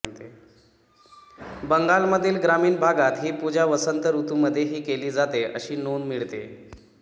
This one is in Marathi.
बंगालमधील ग्रामीण भागात ही पूजा वसंत ऋतूमधेही केली जाते अशी नोंद मिळते